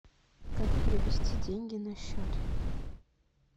как перевести деньги на счет